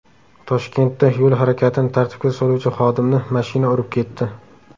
Toshkentda yo‘l harakatini tartibga soluvchi xodimni mashina urib ketdi.